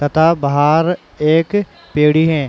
तथा भार एक पेड़ी हैं।